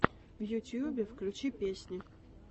в ютьюбе включи песни